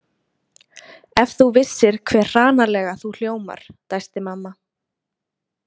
Ef þú vissir hve hranalega þú hljómar, dæsti mamma.